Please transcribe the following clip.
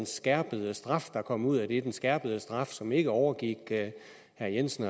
skærpede straf der kom ud af det så var den skærpede straf som ikke overgik herre jensen